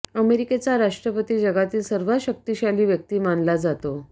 अमेरिकेचा राष्ट्रपती जगातील सर्वात शक्तिशाली व्यक्ती मानला जातो